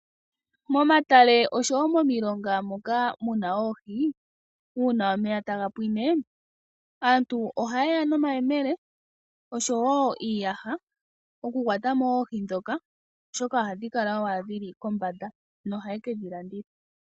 Momatale oshowo momilonga moka muna oohi, uuna omeya taga pwine aantu ohayeya nomayemele noshowo iiyaha opo yakwatemo oohi ndhoka oshoka ohadhi kala dhili kombanda nohaye kedhilanditha.